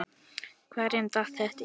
Hverjum datt þetta í hug?